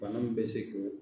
Bana min bɛ se k'o